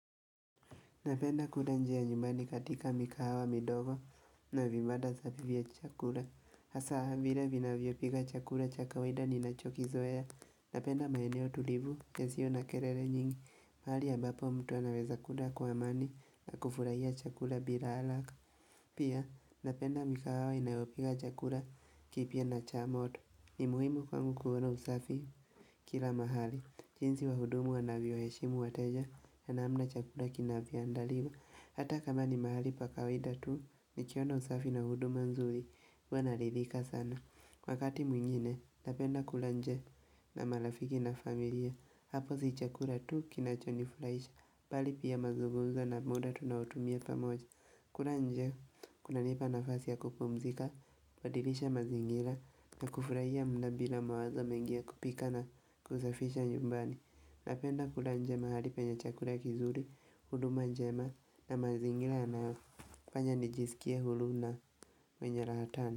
Napenda kule njia nyumbani katika mikahawa midogo na vibanda za kulia chakula. Hasa vila vinavyopika chakula cha kawida ninachokizoea. Napenda maeneo tulivu yasio na kelele nyingi. Pahali ambapo mtu anaweza kula kwa amani na kufurahia chakula bila haraka. Pia napenda mikahawa inayopika chakula kipya na cha moto ni muhimu kwangu kuona usafi kila mahali. Jinsi wahudumu wanavyowaheshimu wateja na namna chakula kinavyoandaliwa Hata kama ni mahali pa kawaida tu Nikiona usafi na huduma nzuri huwa naridhika sana Wakati mwingine Napenda kula nje na marafiki na familia Hapo si chakula tu kinachonifuraisha Bali pia mazugumzo na muda tunaotumia pamoja kula nje kunanipa nafasi ya kupumzika kubadilisha mazingira na kufurahia muda bila mawazo mengi ya kupika na kusafisha nyumbani napenda kula nje mahali penye chakula kizuri huduma njema na mazingira yanayofanya nijisikie huru na mwenye raha sana.